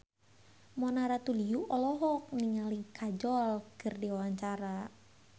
Mona Ratuliu olohok ningali Kajol keur diwawancara